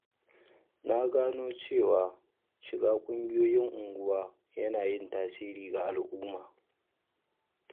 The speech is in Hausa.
Na gano cewa shiga ƙungiyoyin unguwa yana yin tasiri ga al’umma.